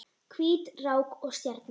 Hvít rák og stjarna